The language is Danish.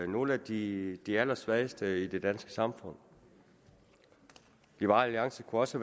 nogle af de de allersvageste i det danske samfund liberal alliance kunne også